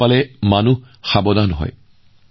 হাতী পাৰ হৈ যোৱা ৰাস্তাবোৰত যোৱাৰ বিপদ ৰোধ কৰা হয়